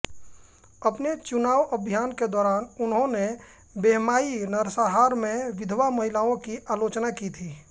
अपने चुनाव अभियान के दौरान उन्होंने बेहमाई नरसंहार में विधवा महिलाओं की आलोचना की थी